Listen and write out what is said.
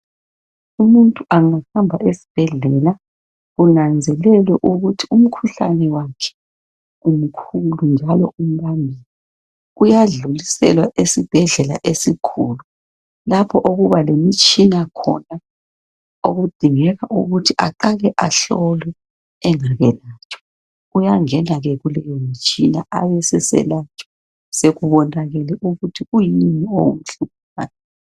Umuntu engahamba esibhedlela, kunanzelelwe ukuthi umkhuhlane wakhe umkhulu njalo umnengi, uyadluliselwa esibhedlela esikhulu, lapho okuba lemitshina khona, okudingeka ukuthi aqale ahlolwe engakayelatshwa. Uyangena ke kulowo mtshina, abeseselatshwa, sekubonakele ukuthi kuyini okumhluphayo.